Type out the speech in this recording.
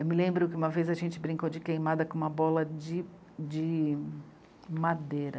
Eu me lembro que uma vez a gente brincou de queimada com uma bola de, de... madeira.